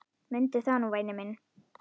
Mundu það nú væni minn.